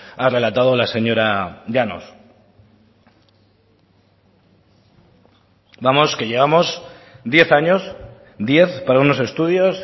ha relatado la señora llanos vamos que llevamos diez años diez para unos estudios